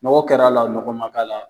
Nɔgɔ kɛ la la wo, nɔgɔ ma k'a la wo